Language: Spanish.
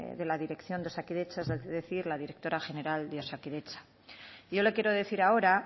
de la dirección de osakidetza es decir la directora general de osakidetza yo le quiero decir ahora